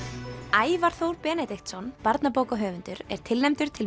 Ævar Þór Benediktsson barnabókahöfundur er tilnefndur til